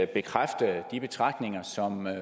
bekræftelse af de betragtninger